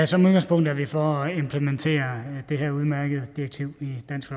som udgangspunkt er vi for at implementere det her udmærkede direktiv i dansk